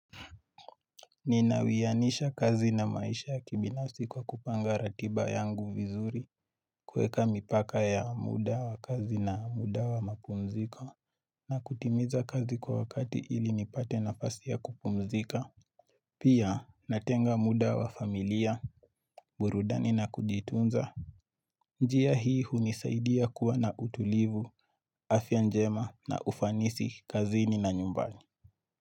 Ninawianisha kazi na maisha ya kibinafsi kwa kupanga ratiba yangu vizuri kuweka mipaka ya muda wa kazi na muda wa mapumziko na kutimiza kazi kwa wakati ili nipate nafasi ya kupumzika Pia natenga muda wa familia burudani, na kujitunza. Njia hii hunisaidia kuwa na utulivu, afya njema, na ufanisi kazini na nyumbani.